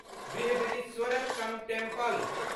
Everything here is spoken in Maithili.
बृहदीश्वरर टेम्पल